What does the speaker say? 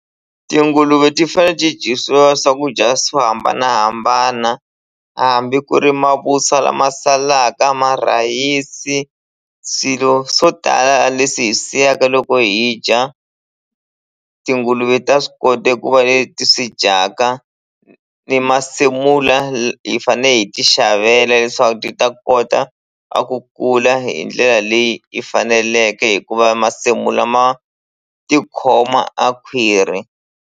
Tinguluve ti fane ti dyisiwa swakudya swo hambanahambana hambi ku ri mavuswa lama salaka marhayisi swilo swo tala leswi hi swi siyaka loko hi dya tinguluve ta swi kota eku va leti swi dyaka ni masimula hi fane hi ti xavela leswaku ti ta kota a ku kula hi ndlela leyi yi faneleke hikuva masimula ma tikhoma a khwiri.